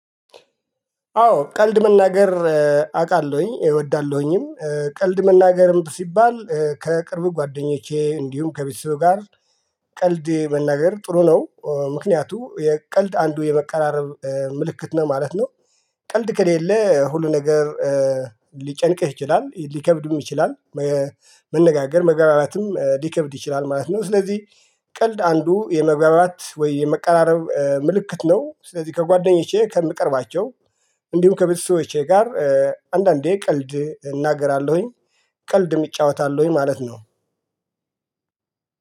አዎ ቀልድ መናገር አቃለሁኝ እወዳለሁኝም ቀልድ መናገርም ሲባል ከቅርብ ጓደኞቼ እንዲሁም ከቤተሰብ ጋር ቀልድ መናገር ጥሩ ነው ምክንያቱ የቀልድ አንዱ የመቀራረብ ምልክት ነው ማለት ነው። ቀልድ ከሌለ ሁሉ ነገር ሊጨንቅህ ይችላል ሊከብድም ይችላል። መነጋገር መግባባትም ሊከብድ ይችላል ማለት ነው። ስለዚህ ቀልድ አንዱ የመግባባት ወይ የመቀራረብ ምልክት ነው ስለዚህ ከጓደኞቼ ከምቀርባቸው እንዲሁም ከቤተሰቦቼ ጋር አንዳንዴ ቀልድ እናገራለሁኝ። ቀልድ እጫወታለሁኝ ማለት ነው።